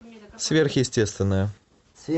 сверхъестественное